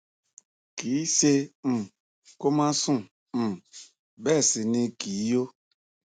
kì í ṣẹ um kó má sùn um bẹẹ sì ni kì í yó